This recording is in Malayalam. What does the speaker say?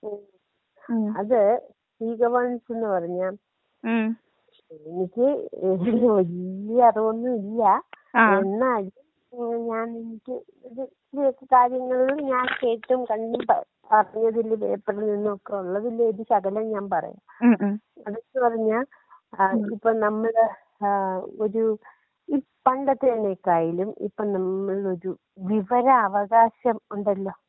ഉം അത് ഈ ഗവേണൻസെന്നു പറഞ്ഞാ എനിക്ക് വല്ല്യ അറിവൊന്നും ഇല്ല എന്നാലും ഏ എനിക്ക് ഇത് ഇച്ചിരിയൊക്കെ കാര്യങ്ങളിൽ ഞാൻ കേട്ടും കണ്ടും *നോട്ട്‌ ക്ലിയർ* അറിഞ്ഞതില് കേട്ടതിൽ നിന്നൊക്കെയൊള്ളതിന്റെ ഒരു ശകലം ഞാൻ അടുത്തു പറഞ്ഞാ ആ ഇപ്പോ നമ്മള് ആ ഒരു ഈ പണ്ടത്തേനേക്കായിലും ഇപ്പോ നമ്മളൊരു വിവരാവകാശമുണ്ടല്ലോ.